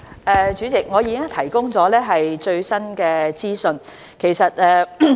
代理主席，我已經提供最新資訊。